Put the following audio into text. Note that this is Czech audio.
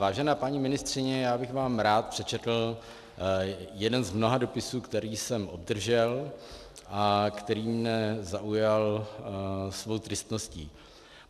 Vážená paní ministryně, já bych vám rád přečetl jeden z mnoha dopisů, který jsem obdržel a který mě zaujal svou tristností.